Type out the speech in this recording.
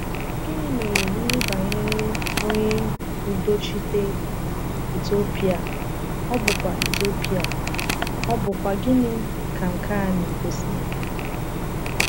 Gịnị mere n’ihe banyere onye udochite Etiopịa, ọ̀ bụkwa Etiopịa, ọ̀ bụkwa gịnị ka nke a na-egosi?